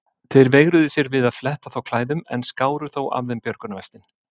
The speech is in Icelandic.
Þeir veigruðu sér við að fletta þá klæðum en skáru þó af þeim björgunarvestin.